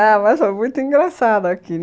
Ah, mas foi muito engraçado aqui.